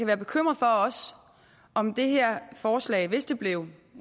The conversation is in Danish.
være bekymret for om det her forslag hvis det blev